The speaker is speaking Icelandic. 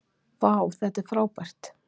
vá þetta er frábært